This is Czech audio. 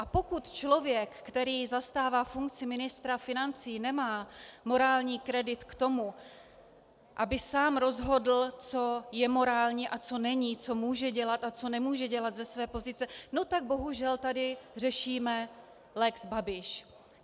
A pokud člověk, který zastává funkci ministra financí, nemá morální kredit k tomu, aby sám rozhodl, co je morální a co není, co může dělat a co nemůže dělat ze své pozice, no tak bohužel tady řešíme lex Babiš.